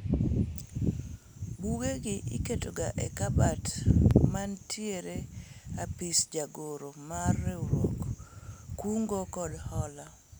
buge gi iketo ga e kabat mantiere e apis jagoro mar riwruog kungo kod hola